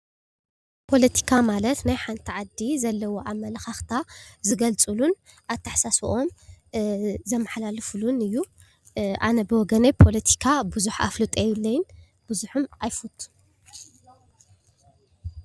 ፖለቲካ ማለት ናይ ሓንቲ ዓዲ ዘለዉ ኣመለኻኽታ ዝገልፅሉን ኣተሓሳስበኦም አ ዘመሓላልፍሉን እዩ፡፡ ኣነ ብወገነይ ፖለቲካ ብዙሕ ኣፍልጦ የብለይን፡፡ ብዙሕም ኣይፈቱን፡፡